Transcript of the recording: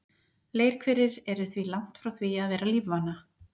Leirhverir eru því langt frá því að vera lífvana.